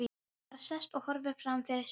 Bara sest og horfir framfyrir sig.